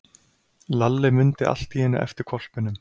Lalli mundi allt í einu eftir hvolpinum.